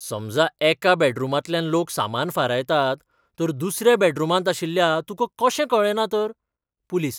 समजा एका बॅडरूमांतल्यान चोर सामान फारायतात, तर दुसऱ्या बॅडरूमांत आशिल्ल्या तुका कशें कळ्ळे ना तर? पुलीस